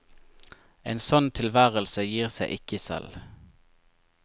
En sånn tilværelse gir seg ikke selv.